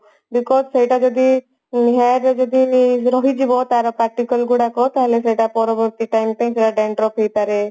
because ସେଇଟା ଯଦି hair ରେ ରହିଯିବ ତାର particle ଗୁଡାକ ତାହେଲେ ସେଟା ପରବର୍ତ୍ତୀ ଟାଇମ ପାଇଁ ସେଗୁଡା dandruff ହେଇପାରେ